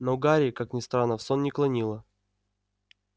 но гарри как ни странно в сон не клонило